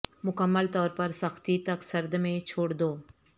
مکمل طور پر سختی تک سرد میں چھوڑ دو